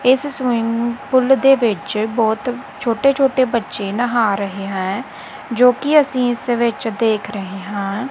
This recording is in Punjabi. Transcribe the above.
ਇਸ ਸਵਿਮਿੰਗ ਪੁੱਲ ਦੇ ਵਿੱਚ ਬਹੁਤ ਛੋਟੇ ਛੋਟੇ ਬੱਚੇ ਨਹਾ ਰਹੇ ਹੈਂ ਜੋ ਕਿ ਅਸੀ ਇਸ ਵਿੱਚ ਦੇਖ ਰਹੇ ਹਾਂ।